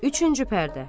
Üçüncü pərdə.